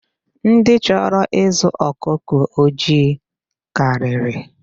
Ndị chọrọ ịzụ ọkụkọ ojii karịrị.